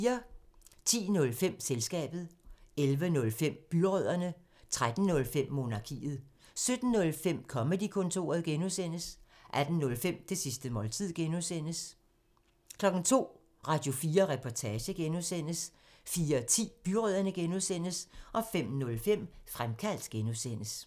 10:05: Selskabet 11:05: Byrødderne 13:05: Monarkiet 17:05: Comedy-kontoret (G) 18:05: Det sidste måltid (G) 02:00: Radio4 Reportage (G) 04:10: Byrødderne (G) 05:05: Fremkaldt (G)